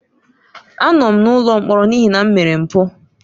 Anọ m n'ụlọ mkpọrọ n'ihi na m mere mpụ.